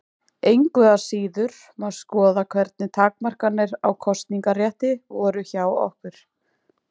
Engu að síður má skoða hvernig takmarkanir á kosningarétti voru hjá okkur.